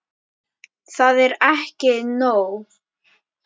Það er ekki nóg.